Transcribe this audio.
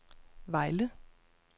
Vejle